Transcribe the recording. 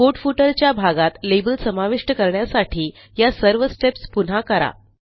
report footer च्या भागात label समाविष्ट करण्यासाठी या सर्वsteps पुन्हा करा